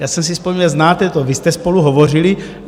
Já jsem si vzpomněl - znáte to, vy jste spolu hovořili.